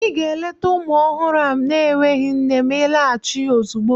Ị ga-eleta ụmụ ọhụrụ na-enweghị nne ma ịlaghachi ozugbo!